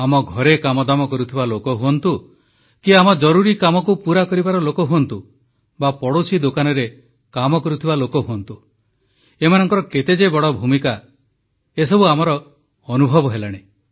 ଆମ ଘରେ କାମଦାମ କରୁଥିବା ଲୋକ ହୁଅନ୍ତୁ କି ଆମ ଜରୁରି କାମକୁ ପୂରା କରିବାର ଲୋକ ହୁଅନ୍ତୁ ବା ପଡ଼ୋଶୀ ଦୋକାନରେ କାମ କରୁଥିବା ଲୋକ ହୁଅନ୍ତୁ ଏମାନଙ୍କର କେତେ ଯେ ବଡ଼ ଭୂମିକା ଏସବୁ ଆମର ଅନୁଭବ ହେଲାଣି